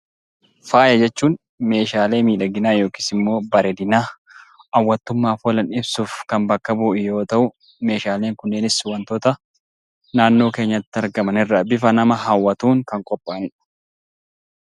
Faaya jechuun meeshaalee miidhaginaa yookiis immoo bareedinaa, hawwattummaaf oolan dhiyeessuuf kan bakka bu'u yoo ta'u, meeshaaleen kunniinis wantoota naannoo keenyatti argaman irraa bifa nama hawwatuun kan qophaa'ani dha.